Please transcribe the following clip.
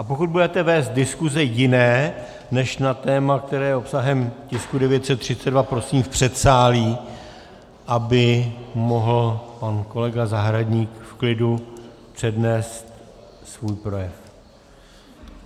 A pokud budete vést diskuse jiné než na téma, které je obsahem tisku 932, prosím v předsálí, aby mohl pan kolega Zahradník v klidu přednést svůj projev.